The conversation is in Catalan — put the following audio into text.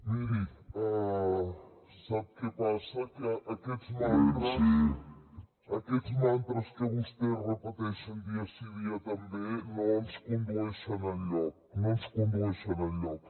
miri sap què passa que aquests mantres que vostès repeteixen dia sí dia també no ens condueixen enlloc no ens condueixen enlloc